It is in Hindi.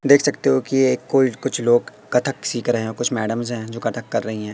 देख सकते हो कि ये कोई कुछ लोग कथक सीख रहे हैं कुछ मैडम है जो कथक कर रही है।